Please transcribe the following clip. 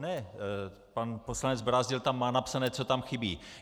Ne, pan poslanec Brázdil tam má napsané, co tam chybí.